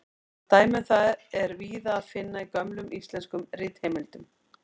Dæmi um það er víða að finna í gömlum íslenskum ritheimildum.